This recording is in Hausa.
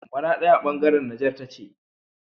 maradi a bangaran Niger tace